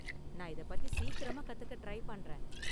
நான் இதை பத்தி சீக்கிரமா கத்துக்க ட்ரை பண்றேன்.